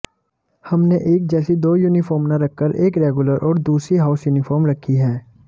हमने एक जैसी दो यूनिफॉर्म न रखकर एक रेगुलर और दूसरी हाउस यूनिफॉर्म रखी है